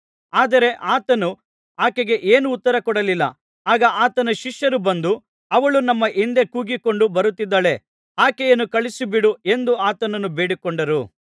ಆದರೆ ಆತನು ಆಕೆಗೆ ಏನೂ ಉತ್ತರ ಕೊಡಲಿಲ್ಲ ಆಗ ಆತನ ಶಿಷ್ಯರು ಬಂದು ಅವಳು ನಮ್ಮ ಹಿಂದೆ ಕೂಗಿಕೊಂಡು ಬರುತ್ತಿದ್ದಾಳೆ ಆಕೆಯನ್ನು ಕಳುಹಿಸಿಬಿಡು ಎಂದು ಆತನನ್ನು ಬೇಡಿಕೊಂಡರು